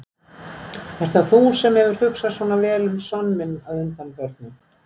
Ert það þú sem hefur hugsað svona vel um son minn að undanförnu?